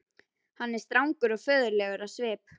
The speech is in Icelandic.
Hann er strangur og föður legur á svip.